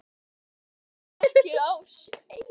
Þú ert nefnilega ekki sá eini